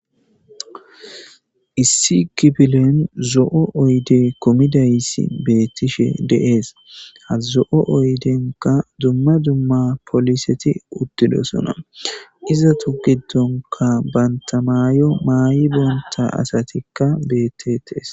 issi kipilen zo7o oyde komidaysi beettishe deees hazo7o oydenka dumma dumma poliseti uttidosona izatu giddonka bantamaayo maay7i bonta asatikka bettetes